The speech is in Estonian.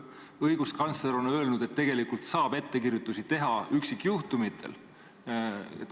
Õiguskantsler on öelnud, et tegelikult saab ükikjuhtumitel ettekirjutusi teha.